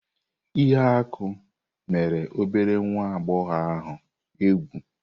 Ihuaku mere obere nwa agbọghọ ahụ egwu.